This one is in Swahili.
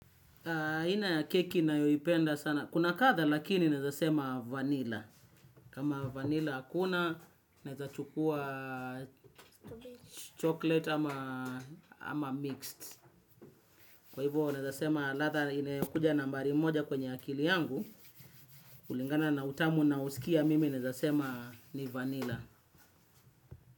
Aina ya keki ninayoipenda sana kuna kadhaa lakini nawezasema vanilla. Kama vanilla hakuna, naweza chukua chocolate ama mixed. Kwa hivyo nawezasema ladha inayokuja nambari moja kwenye akili yangu. Kulingana na utamu ninaousikia mimi nawezasema ni vanilla.